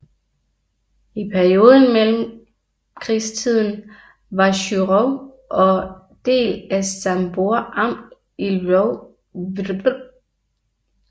I perioden mellemkrigstiden var Chyrów en del af Sambór amt i Lwow voivodeship